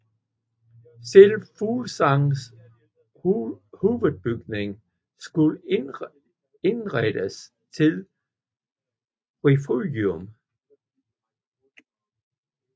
Selve Fuglsangs hovedbygning skulle indrettes til refugium